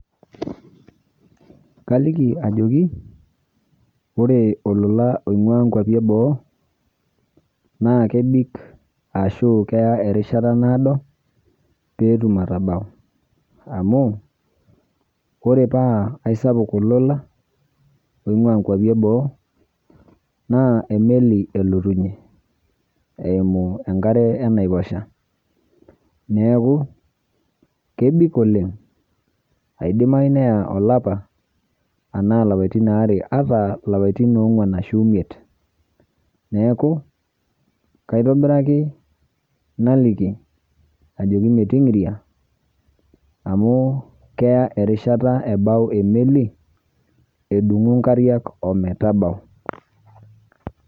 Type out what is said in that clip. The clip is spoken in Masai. Kaliki ajoki ore olola oing'uaa nkuapi eboo naa kebik ashuu keya erishata naado peetum atabau amu kore paa aisapuk olola oing'uaa nkuapi eboo naa emeli elotunye eimu enkare enaiposha. Neaku, kebik oleng', aidimayu naa olapa, anaa lapaitin aare ataa lapaitin ong'uan ashu imiet neaku kaitobiraki naliki ajoki meting'iria amu keya erishata ebau emeli edung'u nkariak ometabau.